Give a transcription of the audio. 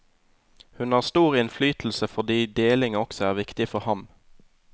Hun har stor innflytelse fordi deling også er viktig for ham.